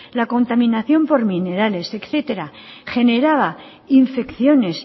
la contaminación por minerales etcétera generaba infecciones